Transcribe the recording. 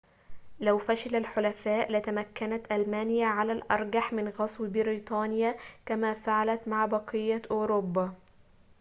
لو فشل الحلفاء لتمكنت ألمانيا على الأرجح من غزو بريطانيا كما فعلت مع بقية أوروبا